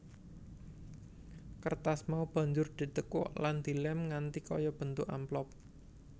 Kertas mau banjur ditekuk lan dilèm nganti kaya bentuk amplop